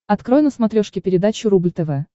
открой на смотрешке передачу рубль тв